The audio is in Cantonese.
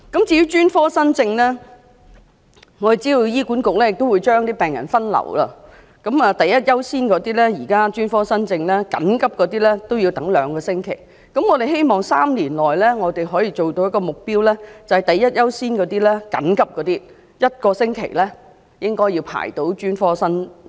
至於專科新症方面，我們知道醫管局會將病人分流，現在第一優先的專科新症要輪候兩個星期，我們希望政府和醫管局在3年內能夠達到的目標是，第一優先的專科新症輪候1個星期便能會診。